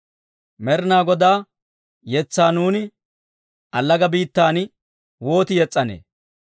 Med'inaa Godaa yetsaa, nuuni, allaga biittan wooti yes's'anee?